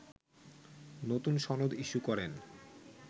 নতুন সনদ ইস্যু করেন